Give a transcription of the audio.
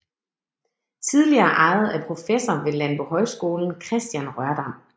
Tidligere ejet af professor ved Landbohøjskolen Kristian Rørdam